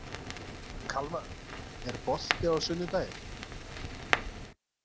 Kalmar, er bolti á sunnudaginn?